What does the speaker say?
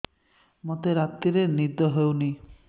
ମୋତେ ରାତିରେ ନିଦ ହେଉନି